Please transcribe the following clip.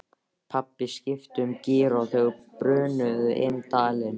Pabbi skipti um gír og þau brunuðu inn dalinn.